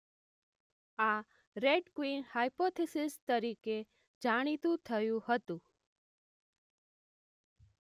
આ red queen hypothesis તરીકે જાણીતું થયું હતું.